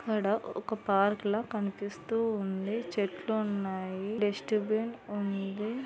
ఇక్కడ ఒక పార్క్ లా కనిపిస్తూ ఉంది. చెట్లు ఉన్నాయి. డస్ట బిన్ ఉంది.